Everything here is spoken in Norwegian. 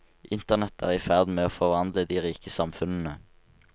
Internett er i ferd med å forvandle de rike samfunnene.